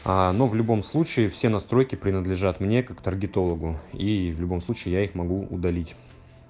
аа ну в любом случае все настройки принадлежат мне как торгитологу и в любом случае я их могу удалить